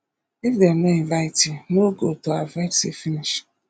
if dem no invite you no go to avoid see finish